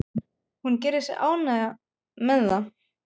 Hún gerir sig ánægða með það.